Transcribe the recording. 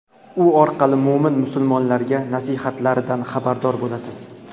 u orqali mo‘min-musulmonlarga nasihatlaridan xabardor bo‘lasiz.